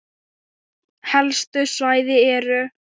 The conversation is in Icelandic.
Helstu svæði eru